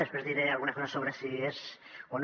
després diré algunes coses sobre si és o no